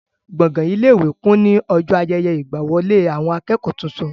Gbọ̀gán ilé-ìwé kún ní ọjọ́ ayẹyẹ ìgbàwọlé àwọn akẹ́kọ̀ọ́ tuntun.